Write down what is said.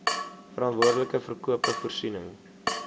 verantwoordelike verkope voorsiening